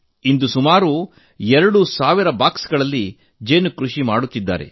ಇಂದು ಸುಮಾರು ಎರಡು ಸಾವಿರ ಪೆಟ್ಟಿಗೆಗಳಲ್ಲಿ ಜೇನು ಕೃಷಿ ಮಾಡುತ್ತಿದ್ದಾರೆ